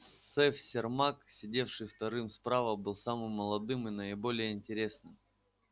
сэф сермак сидевший вторым справа был самым молодым и наиболее интересным